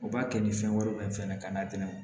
U b'a kɛ ni fɛn wɛrɛw ye fɛnɛ ka n'a d'u ma